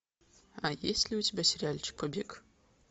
а есть ли у тебя сериальчик побег